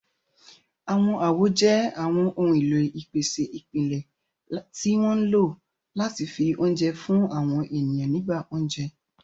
Àwọn àwo jẹ́ àwọn ohun èlò ìpèsè ìpìlẹ̀ tí wọ́n ń lò láti fi oúnjẹ fún àwọn ènìyàn nígbà oúnjẹ.